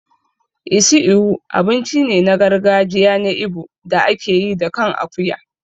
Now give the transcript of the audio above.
Isi Ewu abinci ne na gargajiya na Igbo da ake yi da kan akuya.